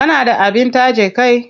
Kana da abin taje kai?